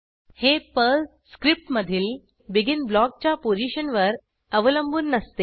हे पर्ल स्क्रिप्टमधील BEGINब्लॉकच्या पोझिशनवर अवलंबून नसते